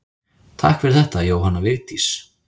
Takk fyrir þetta Jóhanna Vigdís.